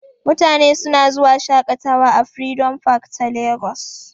Mutane suna zuwa shaƙatawa a freedom park ta Lagos.